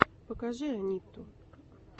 покажи анитту